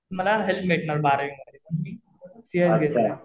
मला हेल्प भेटणार बारावी मध्ये सीएस घेतलं तर.